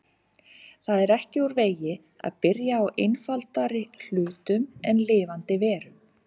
Það er ekki úr vegi að byrja á einfaldari hlutum en lifandi verum.